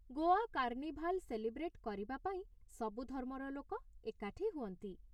Goa carnival celebrate କରିବା ପାଇଁ ସବୁ ଧର୍ମର ଲୋକ ଏକାଠି ହୁଅନ୍ତି ।